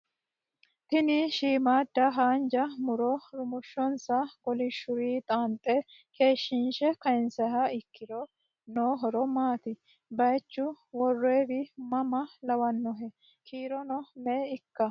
Tini shiimmada haanja muro rumoshonsa kolishuri xaanxe keeshshinse kayiinsiha ikkiro noo horo maati? Bayiichu worroyiwi mama lawannohe? Kiirono me"e ikkawo?